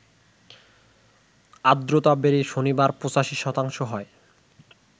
আর্দ্রতা বেড়ে শনিবার ৮৫ শতাংশ হয়